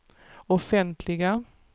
offentliga